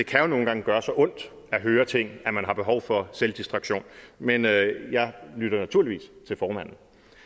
kan jo nogle gange gøre så ondt at høre ting at man har behov for selvdistraktion men jeg lytter naturligvis til formanden